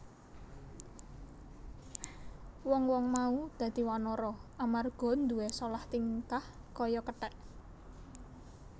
Wong wong mau dadi wanara amarga nduwé solah tingkah kaya kethek